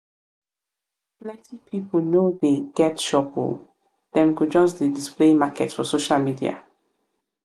plenty pipu no dey get shop o dem go just dey display market for social media.